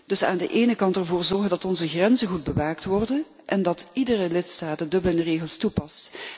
Dus aan de ene kant ervoor zorgen dat onze grenzen goed bewaakt worden en dat iedere lidstaat de Dublin regels toepast.